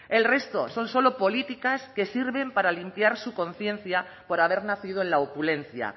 el resto son solo políticas que sirven para limpiar su conciencia por haber nacido en la opulencia